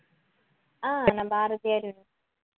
அஹ் நான் பாரதியார் univer~